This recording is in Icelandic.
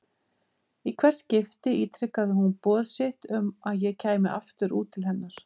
Í hvert skipti ítrekaði hún boð sitt um að ég kæmi aftur út til hennar.